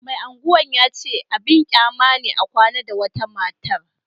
Mai Agwan ya ce abin kyama ne a kwana da wata matar